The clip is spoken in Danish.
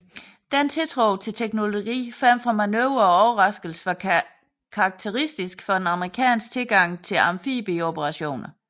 Denne tiltro til teknologi frem for manøvre og overraskelse var karakteristisk for den amerikanske tilgang til amfibieoperationer